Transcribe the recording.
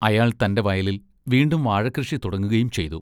അയാൾ തൻ്റെ വയലിൽ വീണ്ടും വാഴക്കൃഷി തുടങ്ങുകയും ചെയ്തു.